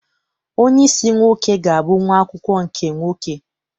Onyeisi nwoke ga-abụ nwa akwụkwọ nke nwoke.